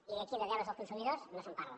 i aquí de deures dels consumidors no se’n parla